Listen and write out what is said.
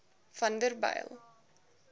vanderbijl